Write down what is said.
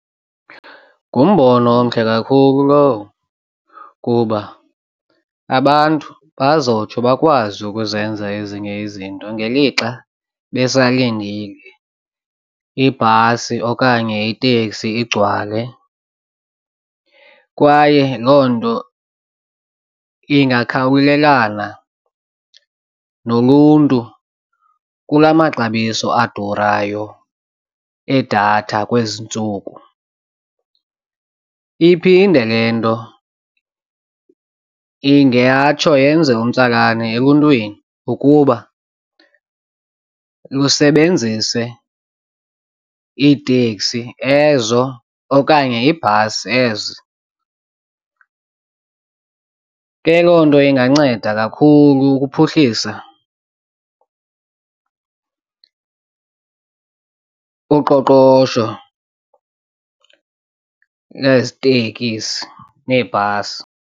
Ngumbono omhle kakhulu lowo kuba abantu bazotsho bakwazi ukuzenza ezinye izinto ngelixa besalindile ibhasi okanye iteksi igcwale kwaye loo nto ingakhawulelana noluntu kula maxabiso adurayo edatha kwezi ntsuku. Iphinde le nto ingatsho yenze umtsalane eluntwini ukuba lusebenzise iiteksi ezo okanye iibhasi ezi. Ke loo nto inganceda kakhulu ukuphuhlisa uqoqosho nezi tekisi neebhasi.